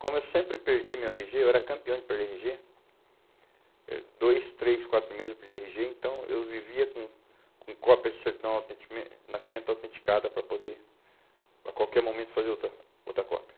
Como eu sempre perdi meu erre gê, eu era campeão de perder erre gê, eh dois, três, quatro meses eu perdi erre gê, então eu vivia com com cópia de certidão de nascimento autenticada para poder, a qualquer momento, fazer outra outra cópia.